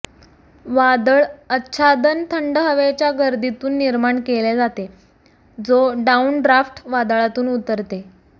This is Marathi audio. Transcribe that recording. वादळ आच्छादन थंड हवेच्या गर्दीतून निर्माण केले जाते जो डाऊनड्राफ्ट वादळातून उतरते